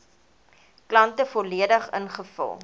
kante volledig ingevul